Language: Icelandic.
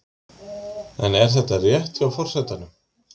En er þetta rétt hjá forsetanum?